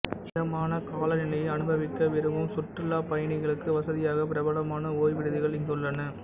இதமான காலநிலையை அனுபவிக்க விரும்பும் சுற்றுலாப்பயணிகளுக்கு வசதியாக பிரபலமான ஓய்வு விடுதிகள் இங்குள்ளன